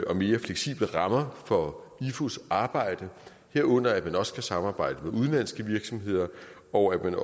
og mere fleksible rammer for ifus arbejde herunder at man også kan samarbejde med udenlandske virksomheder og at